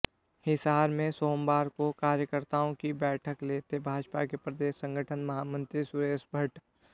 हिसार में सोमवार को कार्यकर्ताओं की बैठक् लेते भाजपा के प्रदेश संगठन महामंत्री सुरेश भट़्ट